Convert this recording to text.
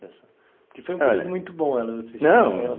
que foi um período muito bom vocês tinham não